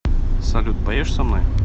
салют поешь со мной